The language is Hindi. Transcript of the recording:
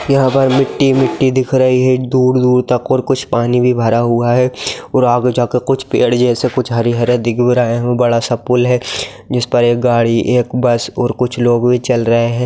यहां पर मिट्टी-मिट्टी दिख रही है दूर-दूर तक और कुछ पानी भी भरा हुआ है और आगे जा के कुछ पेड़ जैसा कुछ हरी-हरी दिख भी रहा है एक बड़ा-सा पूल भी है जिस पे एक गाड़ी एक बस और कुछ लोग---